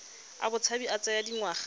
a botshabi a tsaya dingwaga